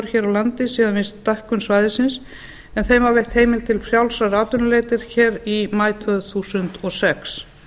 hér á landi síðan við stækkun svæðisins en þeim var veitt heimild til frjálsrar atvinnuleitar í maí tvö þúsund og sex